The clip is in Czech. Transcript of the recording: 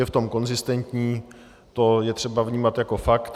Je v tom konzistentní, to je třeba vnímat jako fakt.